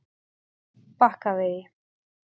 Bakkavegi